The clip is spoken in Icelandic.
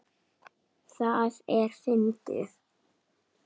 Það er fyndið.